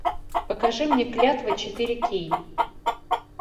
покажи мне клятва четыре кей